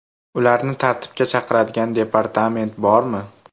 Ularni tartibga chaqiradigan departament bormi?